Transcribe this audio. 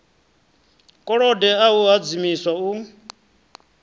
kolode a a hadzimiswa u